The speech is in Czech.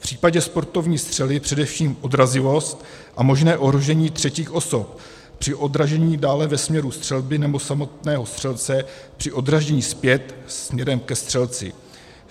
V případě sportovní střely především odrazivost a možné ohrožení třetích osob při odražení dále ve směru střelby nebo samotného střelce při odražení zpět směrem ke střelci.